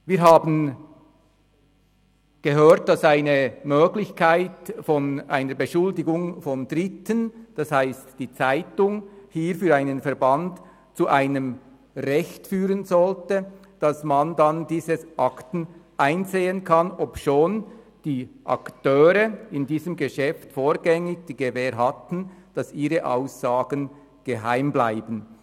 Wir haben gehört, dass die Möglichkeit einer Beschuldigung von Dritten, das heisst der Zeitung, hier für einen Verband zu einem Recht führen sollte, diese Akten einsehen zu können, obschon die Akteure in diesem Geschäft vorgängig die Gewähr hatten, dass ihre Aussagen geheim bleiben.